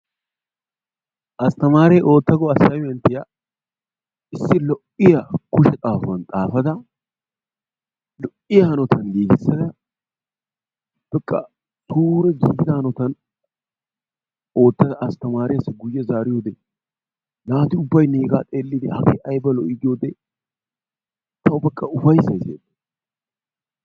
Astamaaree ootta go assymenttiyaa issi lo'iya kushe xaafuwan xaafada lo'iya hanotan giiggissada ooppekka suure giiggida hanotaa oottada Astamaareessi guyye zaariyode naati ubbay neegaa xeelidi hagee ayba lo"i giyode tawu beqa ufayssay siyeettees.